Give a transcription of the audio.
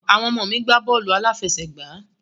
Àwọn ọmọ mi gbà bọ́ọ́lù aláfẹsẹ̀gbá